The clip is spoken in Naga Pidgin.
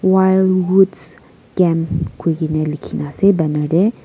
wild Woods Camps koikena lekhena ase banner deh.